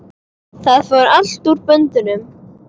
Það fór allt úr böndum.